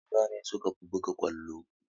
Maza ne sukafi buga ƙwallo